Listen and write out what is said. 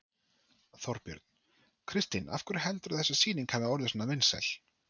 Þorbjörn: Kristín af hverju heldurðu að þessi sýning hafi orðið svona vinsæl?